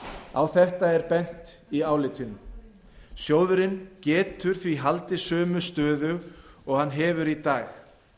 á þetta hefur verið bent fyrr í álitinu sjóðurinn getur því haldið sömu stöðu og hann hefur í dag